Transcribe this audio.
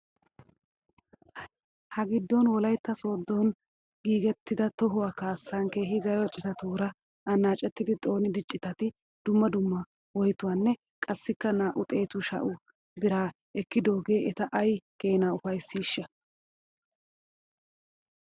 Hagiddon wolaytta sooddona giigettida tohuwaa kaassan keehi daro citatuura anaacettidi xoonida citati dumma dumma woytotanne qassikka naa'u xeetu sha'u birraa ekkidoogee eta ay keenaa ufaysiishsha?